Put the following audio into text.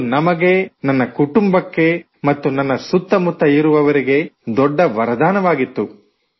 ಇದು ನಮಗೆ ನನ್ನ ಕುಟುಂಬಕ್ಕೆ ಮತ್ತು ನನ್ನ ಸುತ್ತಮುತ್ತ ಇರುವವರಿಗೆ ದೊಡ್ಡ ವರದಾನವಾಗಿತ್ತು